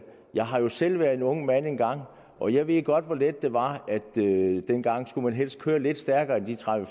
jeg har jo selv været en ung mand engang og jeg ved godt hvor let det var dengang skulle man helst køre lidt stærkere end de tredive